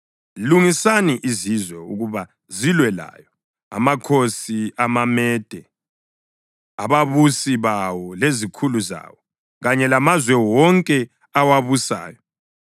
Lungisani izizwe ukuba zilwe layo, amakhosi amaMede, ababusi bawo lezikhulu zawo, kanye lamazwe wonke awabusayo.